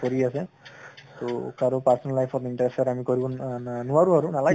কৰি আছে তʼ কাৰো personal life ত interfere আমি কৰিম ন না নোৱাৰোঁ, নালাগে